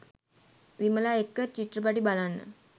විමලා එක්ක චිත්‍රපටි බලන්න